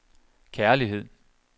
kærlighed